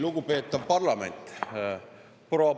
Lugupeetav parlament!